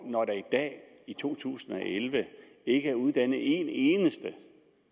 når der i dag i to tusind og elleve ikke er uddannet en eneste